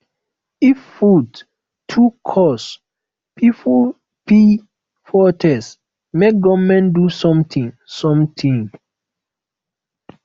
if food too cost pipo fit protest make government do something something